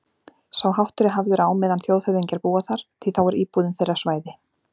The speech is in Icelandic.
Sá háttur er hafður á meðan þjóðhöfðingjar búa þar, því þá er íbúðin þeirra svæði